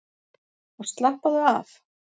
Og slappaðu af!